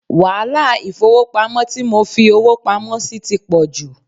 Wàhálà ifowopamo tí mo fi owó pamó sì ti pò jù.